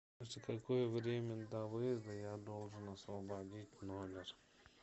за какое время до выезда я должен освободить номер